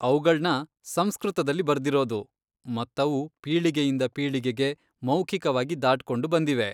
ಅವ್ಗಳ್ನ ಸಂಸ್ಕೃತದಲ್ಲಿ ಬರ್ದಿರೋದು ಮತ್ತವು ಪೀಳಿಗೆಯಿಂದ ಪೀಳಿಗೆಗೆ ಮೌಖಿಕವಾಗಿ ದಾಟ್ಕೊಂಡು ಬಂದಿವೆ.